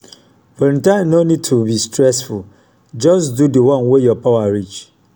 volunteering no nid to be stressful jus do di one wey yur power reach